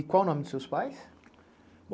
E qual o nome dos seus pais?